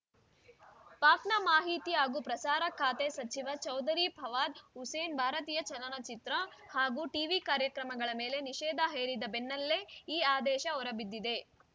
ಪಾಕ್‌ನ ಮಾಹಿತಿ ಹಾಗೂ ಪ್ರಸಾರ ಖಾತೆ ಸಚಿವ ಚೌಧರಿ ಫವಾದ್‌ ಹುಸೇನ್‌ ಭಾರತೀಯ ಚಲನಚಿತ್ರ ಹಾಗೂ ಟಿವಿ ಕಾರ್ಯಕ್ರಮಗಳ ಮೇಲೆ ನಿಷೇಧ ಹೇರಿದ ಬೆನ್ನಲ್ಲೇ ಈ ಆದೇಶ ಹೊರಬಿದ್ದಿದೆ